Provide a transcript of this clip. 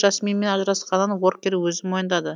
жасминмен ажырасқанын уоркер өзі мойындайды